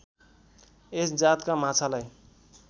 यस जातका माछालाई